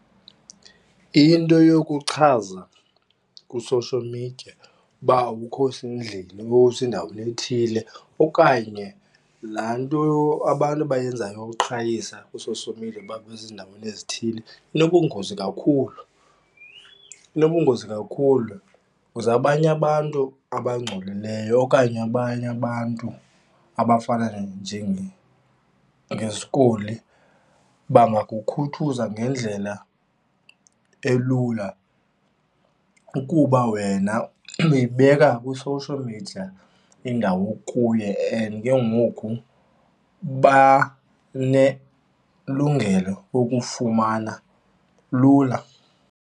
Into yokuchaza kwi-social media uba awukho sendlini usendaweni ethile, okanye laa nto abantu abayenzayo yokuqhayisa ku-social media uba basezindaweni ezithile inobungozi kakhulu, inobungozi kakhulu because abanye abantu abangcolileyo okanye abanye abantu abafana njengezikoli bangakukhuthuza ngendlela elula, ukuba wena uyibeka kwi-social media indawo okuyo and ke ngoku banelungelo lokufumana lula.